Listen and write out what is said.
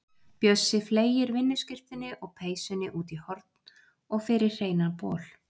Bjössi fleygir vinnuskyrtunni og peysunni út í horn og fer í hreinan bol.